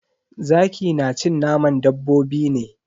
Zaki na cin naman dabbobi ne.